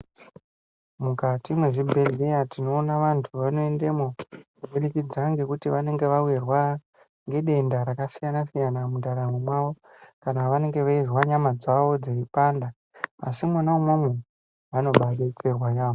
Mukati mwezvibhehleya tinoona vantu vanoendemwo kubudikidza ngekuti vanenge vawirwa ngedenda rasiyana-siyana mundaramo mwawo kana vanenge veizwa nyama dzawo dzeipanda. Asi imwona imwomwo, vanobaadetserwa yaamho.